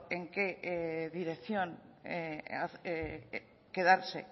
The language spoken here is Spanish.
en qué dirección quedarse